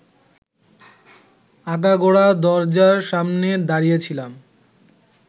আগাগোড়া দরজার সামনে দাড়িয়েছিলাম